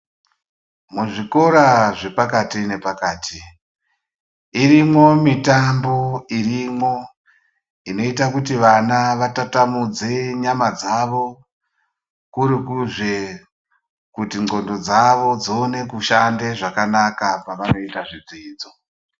Muzvikora zvepakati nepakati irimwo mitambo irimwo inoita kuti vana vatatamudze nyama dzavo kurikuzi n'ongo dzavo dzishande zvakanaka pavanoita zvidzidzo.